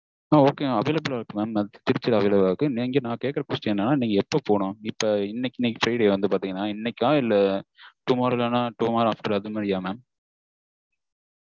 okay mam available லா இருக்கு mam திருச்சியில available லா இருக்கு. நீங்க நா கேட்கிற question என்னா நீங்கா எப்போ போகணும் இப்போ இன்னைக்கு night friday வந்து பார்த்தீங்கன்னா இன்னைக்கு இல்ல tomorrow இல்லனா tomorrow after ஆ அந்த மாதிரியா mam